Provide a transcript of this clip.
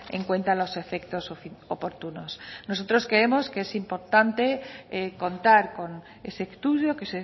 en cuenta a los efectos oportunos nosotros creemos que es importante contar con ese estudio que